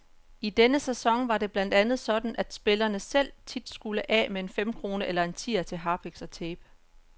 I sidste sæson var det blandt andet sådan, at spillerne selv tit skulle af med en femkrone eller en tier til harpiks og tape.